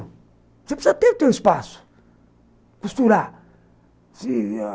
Você precisa ter o seu espaço, costurar.